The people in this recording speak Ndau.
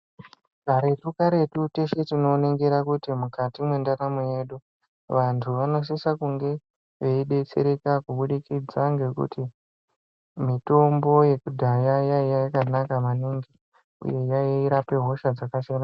Karetu-karetu teshe tinoningira kuti mukati mwendaramo yedu vantu vanosisa kunge veidetsereka kubudikidza ngekuti mitombo yekudhaya yaiya yakanaka maningi uye yairape hosha dzakasiyana-siyana.